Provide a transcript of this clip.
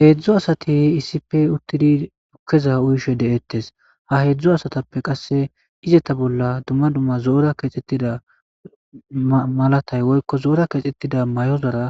heedzdzu asati iisipe uttidi dukkeza uyishe de7eettes ha heedzdzo asatappe qasse izeta bolla dumma dumma zoora keexxettida malatay woykko zoora keexxettida may7ozora